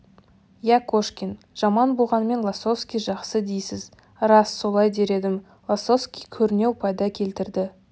иә кошкин жаман болғанмен лосовский жақсы дейсіз рас солай дер едім лосовский көрнеу пайда келтірді